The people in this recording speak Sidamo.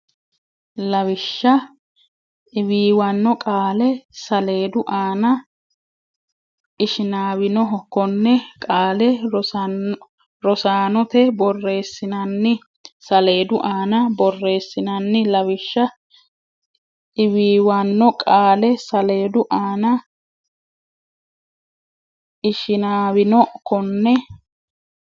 Lawishsha Iwiiwanno Qaale saaleedu aana Ishinaawinoho Konne qaale rosaanote borreessinsa saleedu aana borreessinsa Lawishsha Iwiiwanno Qaale saaleedu aana Ishinaawinoho Konne.